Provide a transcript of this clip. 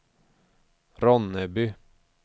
Ronneby